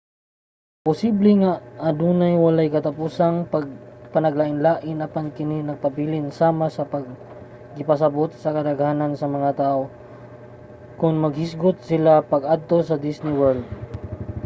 posible nga adunay walay katapusang panaglain-lain apan kini nagpabilin sama sa gipasabot sa kadaghanan sa mga tawo kon maghisgot sila sa pag-adto sa disney world